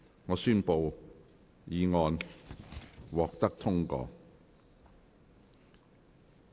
我宣布議案獲得通過。